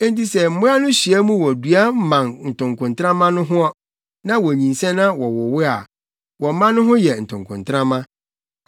Enti sɛ mmoa no hyia mu wɔ dua mman ntokontrama no ho, na wonyinsɛn na wɔwowo a, wɔn mma no ho yɛ ntokontrama.